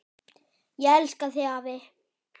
Ég elska þig, afi.